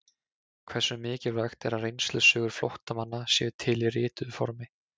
Hversu mikilvægt er að reynslusögur flóttamanna séu til í rituðu formi?